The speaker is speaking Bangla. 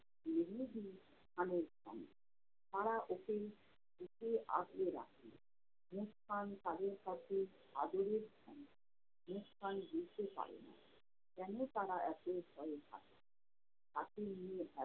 দুজনেরই প্রাণের ধন। তারা ওকে বুকে আগলে রাখে। মুসকান তাদের কাছে আদরের ধন। মুসকান বুঝতে পারে না, কেনো তারা এতো ভয়ে থাকে? তাকে নিয়ে এত